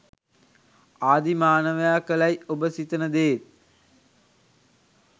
ආදී මානවයා කළැයි ඔබ සිතන දේත්